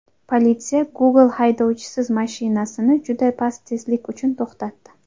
Politsiya Google haydovchisiz mashinasini juda past tezlik uchun to‘xtatdi.